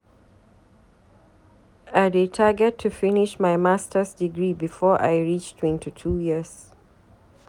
I dey target to finish my Masters degree before I reach 22 years.